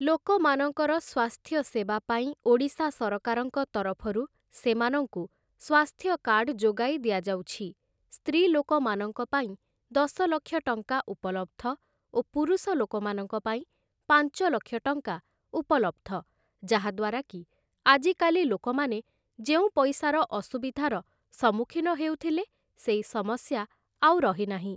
ଲୋକମାନଙ୍କର ସ୍ୱାସ୍ଥ୍ୟ ସେବା ପାଇଁ ଓଡ଼ିଶା ସରକାରଙ୍କ ତରଫରୁ ସେମାନଙ୍କୁ ସ୍ୱାସ୍ଥ୍ୟ କାର୍ଡ଼୍ ଯୋଗାଇ ଦିଆଯାଉଛି । ସ୍ତ୍ରୀଲୋକମାନଙ୍କ ପାଇଁ ଦଶଲକ୍ଷ ଟଙ୍କା ଉପଲବ୍ଧ ଓ ପୁରୁଷ ଲୋକମାନଙ୍କ ପାଇଁ ପାଞ୍ଚଲକ୍ଷ ଟଙ୍କା ଉପଲବ୍ଧ, ଯାହାଦ୍ୱାରା କି ଆଜିକାଲି ଲୋକମାନେ ଯେଉଁ ପଇସାର ଅସୁବିଧାର ସମ୍ମୁଖୀନ ହେଉଥିଲେ ସେଇ ସମସ୍ୟା ଆଉ ରହିନାହିଁ ।